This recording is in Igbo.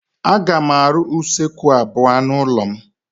Aga m arụ usekwu abuo n'ụlọ m.